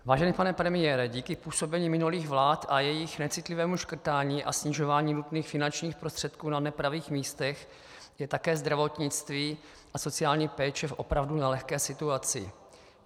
Vážený pane premiére, díky působení minulých vlád a jejich necitlivému škrtání a snižování nutných finančních prostředků na nepravých místech je také zdravotnictví a sociální péče v opravdu nelehké situaci.